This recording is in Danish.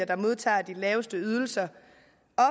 der modtager de laveste ydelser